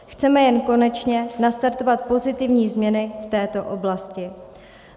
Chceme jen konečně nastartovat pozitivní změny v této oblasti.